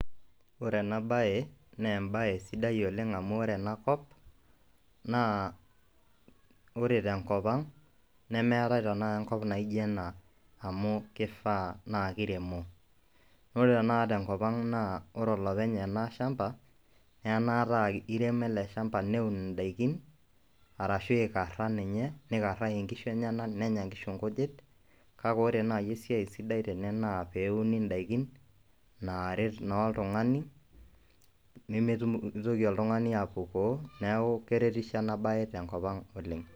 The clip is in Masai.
Ore ene baye naa embaye sidai oleng' amu ore ena kop naa ore tenkop ang' nemeetai tenakata enkop naijo ena amu kifaa naake iremo. Ore tenakata te nkop ang' naa ore olopeny ena shamba enaata ake iremo ele shamba neun nadikin arashu ikara ninye, nikaraki nkishu enyenak nenya nkishu nkujit, kake ore nai esiai sidai tene naa pee euni ndaikin naaret naa oltung'ani nemitum nemitoki oltung'ani apukoo. Neeku keretisho ena baye tenkop ang' oleng'.